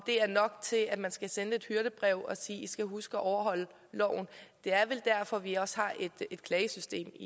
er nok til at man skal sende et hyrdebrev og sige i skal huske at overholde loven det er vel derfor vi også har et klagesystem